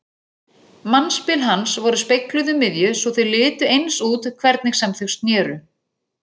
Mannspil hans voru spegluð um miðju svo þau litu eins út hvernig sem þau sneru.